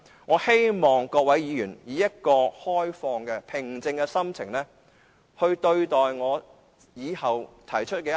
我希望各位議員以開放、平靜的心情考慮我以後提出的修訂。